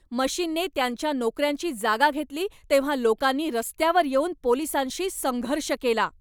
मशीनने त्यांच्या नोकऱ्यांची जागा घेतली तेव्हा लोकांनी रस्त्यावर येऊन पोलिसांशी संघर्ष केला.